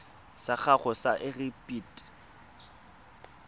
sa gago sa irp it